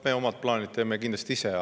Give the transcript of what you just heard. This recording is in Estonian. Me omad plaanid teeme kindlasti ise.